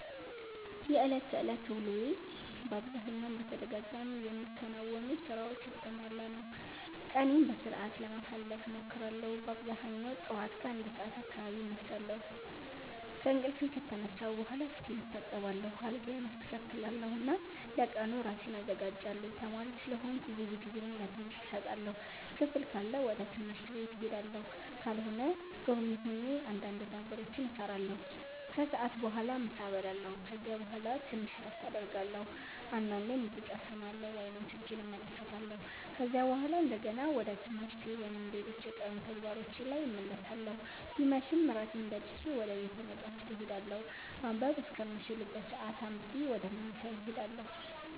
የዕለት ተዕለት ውሎዬ በአብዛኛው በተደጋጋሚ የሚከናወኑ ሥራዎች የተሞላ ነው። ቀኔን በሥርዓት ለማሳለፍ እሞክራለሁ በአብዛኛው ጠዋት ከ1 ሰዓት አካባቢ እነሳለሁ። ከእንቅልፌ ከተነሳሁ በኋላ ፊቴን እታጠባለሁ፣ አልጋዬን አስተካክላለሁ እና ለቀኑ ራሴን አዘጋጃለሁ። ተማሪ ስለሆንኩ ብዙ ጊዜዬን ለትምህርት እሰጣለሁ። ክፍል ካለ ወደ ትምህርት ቤት እሄዳለሁ፣ ካልሆነ ዶርሜ ሆኜ እንዳንድ ነገሮችን እሰራለሁ። ከሰዓት በኋላ ምሳ እበላለሁ ከዚያ በኋላ ትንሽ እረፍት አደርጋለሁ፣ አንዳንዴም ሙዚቃ እሰማለሁ ወይም ስልኬን እመለከታለሁ። ከዚያ በኋላ እንደገና ወደ ትምህርቴ ወይም ሌሎች የቀኑ ተግባሮቼ ላይ እመለሳለሁ ሲመሽም እራቴን በልቼ ወደ ቤተ መፃህፍት እሄዳለሁ ማንበብ እስከምችልበት ሰአት አንብቤ ወደ መኝታዬ እሄዳለሁ።